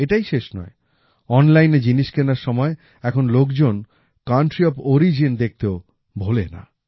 এটাই শেষ নয় অনলাইনে জিনিস কেনার সময় এখন লোকজন কান্ট্রি অফ অরিজিন দেখতেও ভোলেনা